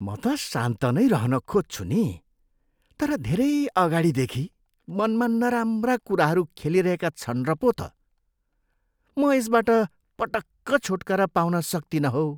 म त शान्त नै रहन खोज्छु नि, तर धेरै अगाडिदेखि मनमा नराम्रा कुराहरू खेलिरहेका छन् र पो त। म यसबाट पटक्क छुटकारा पाउन सक्तिनँ हौ।